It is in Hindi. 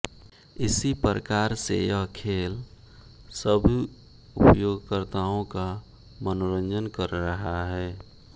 इसी प्रकार से यह खेल सभी उपयोगकर्ताओं का मनोरंजन कर रहा है